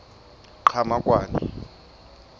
qhamakwane